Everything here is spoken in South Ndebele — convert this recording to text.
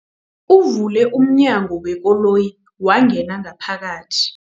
Uvule umnyango wekoloyi wangena ngaphakathi.